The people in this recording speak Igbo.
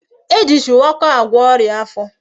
E ji shuwaka agwo oria afo